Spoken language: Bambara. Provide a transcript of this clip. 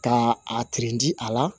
Ka a di a la